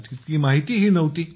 तितकी माहिती ही नव्हती